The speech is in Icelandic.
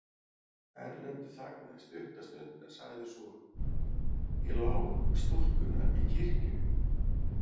Erlendur þagnaði stutta stund en sagði svo:-Ég lá stúlkuna í kirkju.